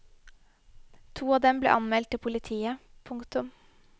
To av dem ble anmeldt til politiet. punktum